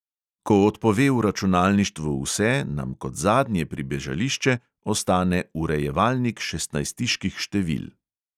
Ko odpove v računalništvu vse, nam kot zadnje pribežališče ostane urejevalnik šestnajstiških števil.